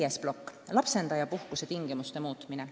Viies plokk, lapsendajapuhkuse tingimuste muutmine.